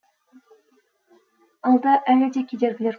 алда әлі де кедергілер көп